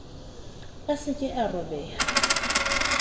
a sa ka a robeha